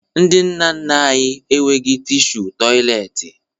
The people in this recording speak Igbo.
Ndị nna nna anyị enweghi tishu tọyịleetị